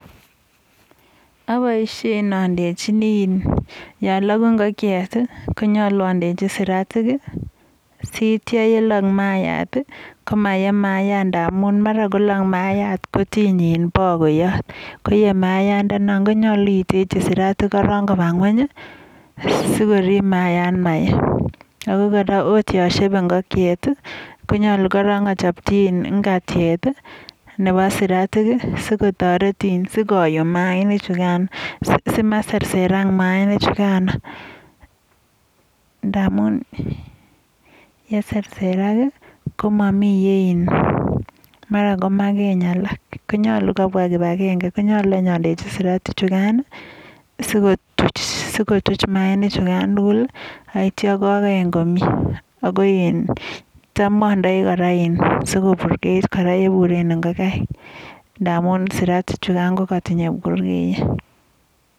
Abiishen andechini ya lagu ingokchet konyalu andechi siratik, siyeityi yelog mayaiyat komaye mayayat ndamun mara kolog mayayat kotiny bakoyot, koye mayayandanikan. Konyalu indechin siratik korok koba ng'ueny sikorib mayayat maye. ako kora akot yon shebei ingokchet, koyalu korok achapchi ingatiet nebo siratik, sikotoret, sikoyoo mayainichukan, simaserserak mayainichukan. Ndamun yeserserak kamami mara komakeny alok. Konyalu kibwa kibagenge, konyalu andechi siratichukano sikotuch mayainik, sikoyum mayainichukan komie. Ago tam adei kora sikoburkeit ale iburen ingokaik nfamun suratichukan kotinyei burkeyet.